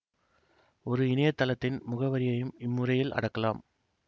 ஒரு இணையத்தளத்தின் முகவரியையும் இம்முறையில் அடக்கலாம்